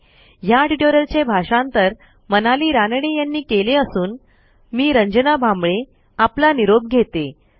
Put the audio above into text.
ह्या ट्युटोरियलचे भाषांतर मनाली रानडे यांनी केले असून मी रंजना भांबळे आपला निरोप घेते160